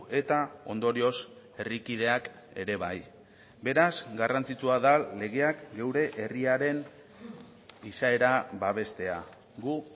eta ondorioz herrikideak ere bai beraz garrantzitsua da legeak geure herriaren izaera babestea gu